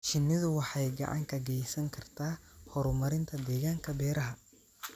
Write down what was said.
Shinnidu waxay gacan ka geysan kartaa horumarinta deegaanka beeraha.